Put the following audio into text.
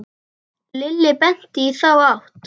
Lilli benti í þá átt.